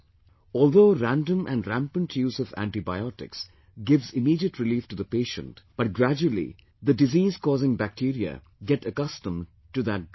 Although random and rampant use of antibiotics gives immediate relief to the patient, but gradually the disease causing bacteria get accustomed to that drug